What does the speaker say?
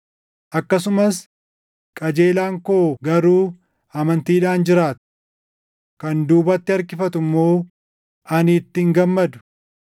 Akkasumas, “Qajeelaan koo garuu amantiidhaan jiraata. Kan duubatti harkifatu immoo ani itti hin gammadu.” + 10:38 \+xt Anb 2:3,4\+xt*